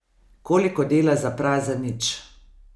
Koliko dela za prazen nič!